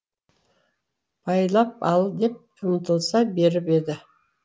байлап ал деп ұмтылыса беріп еді